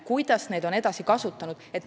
Kuidas on neid edasi kasutatud?